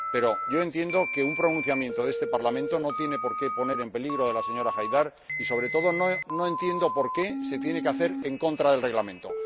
Pero yo entiendo que un pronunciamiento de este Parlamento no tiene por qué poner en peligro a la señora Haidar y, sobre todo, no entiendo por qué se tiene que hacer en contra del Reglamento.